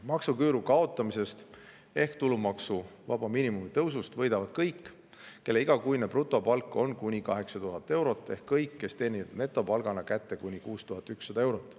Maksuküüru kaotamisest ja tulumaksuvaba miinimumi tõusust võidavad kõik, kelle igakuine brutopalk on kuni 8000 eurot, ehk kõik, kes teenivad netopalgana kätte kuni 6100 eurot.